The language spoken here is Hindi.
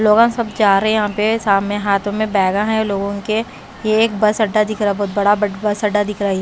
सब जा रहे हैं यहाँ पे सामने हाथों में बैगा है लोगों के ये एक बस अड्डा दिख रहा है बहुत बड़ा बस अड्डा दिख रहा है।